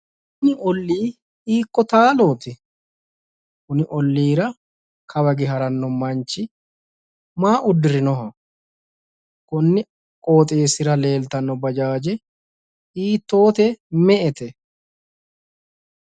Kuni olli hiikko laalooti? Konni olliira kawa hige haranni noo manchi maa uddirinoho konni qooxeessira leeltanno bajaaje hiittoote? Me''ete?